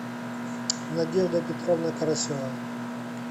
надежда петровна карасева